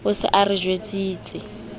o se a re jwetsitse